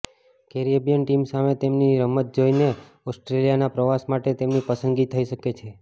Caribbean team સામે તેમની રમત જોઈને ઓસ્ટ્રેલિયાના પ્રવાસ માટે તેમની પસંદગી થઈ શકે છે